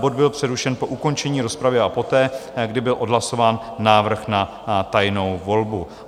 Bod byl přerušen po ukončení rozpravy a poté, kdy byl odhlasován návrh na tajnou volbu.